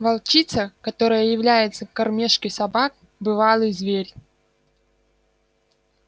волчица которая является к кормёжке собак бывалый зверь